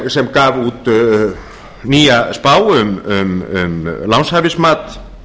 og sem gaf út nýja spá um lánshæfismat